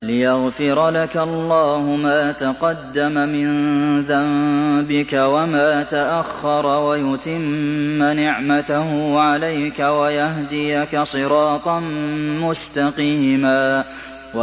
لِّيَغْفِرَ لَكَ اللَّهُ مَا تَقَدَّمَ مِن ذَنبِكَ وَمَا تَأَخَّرَ وَيُتِمَّ نِعْمَتَهُ عَلَيْكَ وَيَهْدِيَكَ صِرَاطًا مُّسْتَقِيمًا